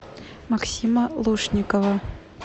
максима лушникова